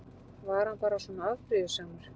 Var hann bara svona afbrýðisamur?